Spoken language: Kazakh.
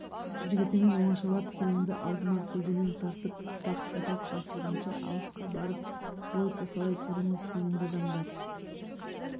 жігітімен оңашалап күреңді алдыма көлденең тартып апақ-сапақ басылғанша алысқа барып бой тасалай тұрыңыз сенімді адамдар